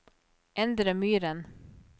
Endre Myhren